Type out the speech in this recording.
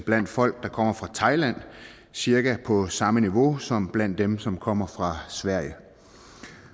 blandt folk der kommer fra thailand cirka på samme niveau som blandt dem som kommer fra sverige